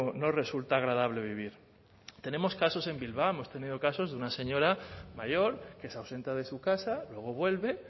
no resulta agradable vivir tenemos casos en bilbao hemos tenido casos de una señora mayor que se ausenta de su casa luego vuelve